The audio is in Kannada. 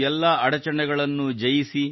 ಎಲ್ಲಾ ಅಡಚಣೆಗಳನ್ನು ಜಯಿಸಿ